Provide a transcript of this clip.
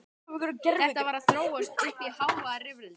Þetta var að þróast uppí hávaðarifrildi.